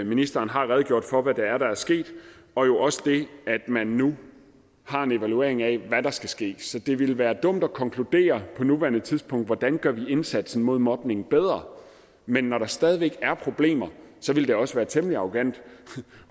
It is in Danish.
ministeren har redegjort for hvad det er der er sket og jo også det at man nu tager en evaluering af hvad der skal ske så det ville være dumt at konkludere på nuværende tidspunkt hvordan vi gør indsatsen mod mobning bedre men når der stadig væk er problemer ville det også være temmelig arrogant